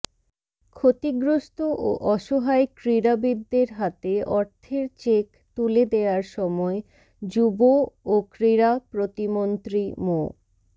ক্ষতিগ্রস্ত ও অসহায় ক্রীড়াবিদদের হাতে অর্থের চেক তুলে দেয়ার সময় যুব ও ক্রীড়া প্রতিমন্ত্রী মো